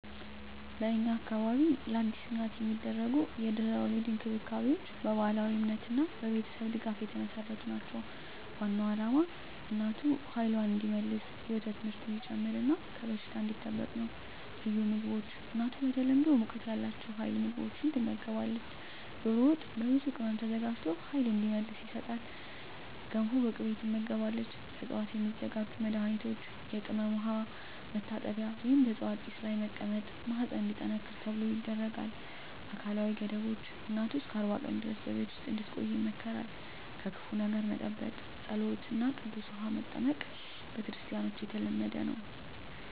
በእኛ አካባቢ ለአዲስ እናት የሚደረጉ የድህረ-ወሊድ እንክብካቤዎች በባህላዊ እምነትና በቤተሰብ ድጋፍ የተመሠረቱ ናቸው። ዋናው ዓላማ እናቱ ኃይልዋን እንዲመልስ፣ የወተት ምርት እንዲጨምር እና ከበሽታ እንዲጠበቅ ነው። ልዩ ምግቦች እናቱ በተለምዶ ሙቀት ያላቸው ኃይል ምግቦች ትመገባለች። ዶሮ ወጥ በብዙ ቅመም ተዘጋጅቶ ኃይል እንዲመልስ ይሰጣል። ገንፎ በቅቤ ትመገባለች። ከዕፅዋት የሚዘጋጁ መድኃኒቶች የቅመም ውሃ መታጠቢያ ወይም በዕፅዋት ጢስ ላይ መቀመጥ ማህፀን እንዲጠነክር ተብሎ ይደረጋል። አካላዊ ገደቦች እናቱ እስከ 40 ቀን ድረስ በቤት ውስጥ እንድትቆይ ይመከራል። ከክፉ ነገር መጠበቅ ጸሎት እና ቅዱስ ውሃ መጠቀም በክርስቲያኖች የተለመደ ነው።